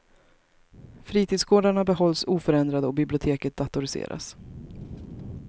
Fritidsgårdarna behålls oförändrade och biblioteket datoriseras.